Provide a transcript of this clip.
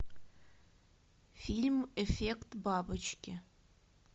фильм эффект бабочки